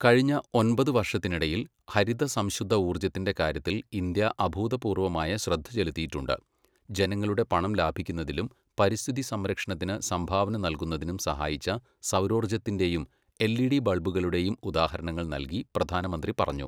കഴിഞ്ഞ ഒമ്പത് വർഷത്തിനിടയിൽ, ഹരിത സംശുദ്ധ ഊർജത്തിന്റെ കാര്യത്തിൽ ഇന്ത്യ അഭൂതപൂർവമായ ശ്രദ്ധ ചെലുത്തിയിട്ടുണ്ട്. ജനങ്ങളുടെ പണം ലാഭിക്കുന്നതിലും പരിസ്ഥിതി സംരക്ഷണത്തിന് സംഭാവന നൽകുന്നതിനും സഹായിച്ച സൗരോർജത്തിന്റെയും എൽഇഡി ബൾബുകളുടെയും ഉദാഹരണങ്ങൾ നൽകി പ്രധാനമന്ത്രി പറഞ്ഞു.